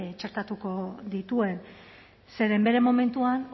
txertatuko dituen zeren bere momentuan